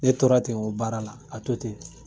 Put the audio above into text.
Ne tora ten o baara la ka to ten